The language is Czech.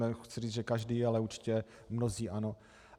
Nechci říct, že každý, ale určitě mnozí ano.